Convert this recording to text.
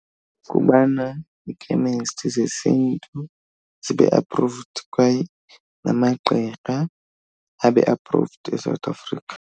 Kubana iikhemesti zesiNtu zibe approved kwaye namagqirha abe approved eSouth Africa.